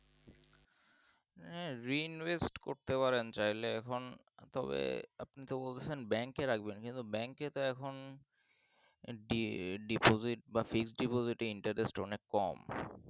এ rin -west করতে পারেন চাইলে এখন তবে আপনি তো বলছেন bank রাখবেন bank তো এখন দি deposit বা fixed deposit এ interest অনেক কম